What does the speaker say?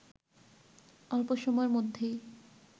অল্প সময়ের মধ্যেই